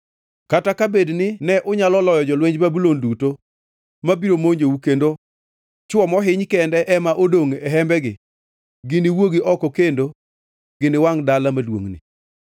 Kata ka bed ni ne unyalo loyo jolwenj Babulon duto ma biro monjou kendo chwo mohiny kende ema odongʼ e hembegi, giniwuogi oko kendo giwangʼ dala maduongʼni.”